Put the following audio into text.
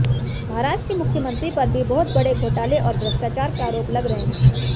महाराष्ट्र के मुख्यमंत्री पर भी बहुत बड़े घोटाले और भ्रष्टाचार के आरोप लग रहे हैं